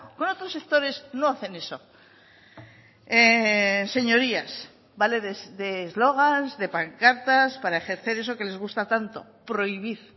con otros sectores no hacen eso señorías vale de eslogan de pancartas para ejercer eso que les gusta tanto prohibir